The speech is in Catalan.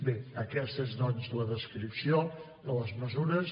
bé aquesta és doncs la descripció de les mesures